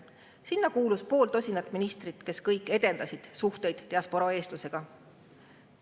Sinna kuulus pool tosinat ministrit, kes kõik edendasid suhteid diasporaa eestlastega.